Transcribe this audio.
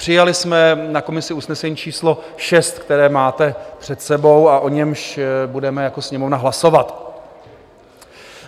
Přijali jsme na komisi usnesení číslo 6, které máte před sebou a o němž budeme jako Sněmovna hlasovat.